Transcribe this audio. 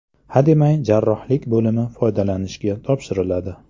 Hademay jarrohlik bo‘limi foydalanishga topshiriladi.